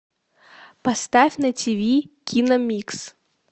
поставь на тиви киномикс